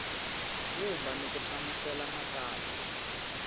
vumba ni ku hlamusela matsalwa